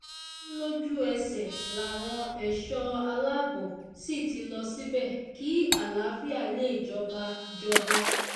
ó ní lójú ẹsẹ̀ làwọn ẹ̀ṣọ́ aláàbò sì ti lọ síbẹ̀ kí àlàáfíà lè jọba jọba